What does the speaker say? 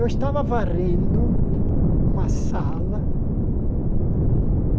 Eu estava varrendo uma sala.